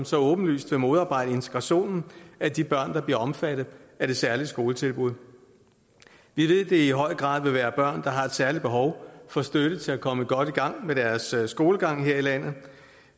så åbenlyst vil modarbejde integrationen af de børn der bliver omfattet af det særlige skoletilbud vi ved det i høj grad vil være børn der har et særligt behov for støtte til at komme godt i gang med deres skolegang her i landet